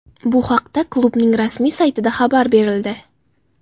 Bu haqda klubning rasmiy saytida xabar berildi.